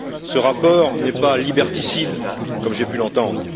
Ce rapport n'est pas liberticide, comme j'ai pu l'entendre.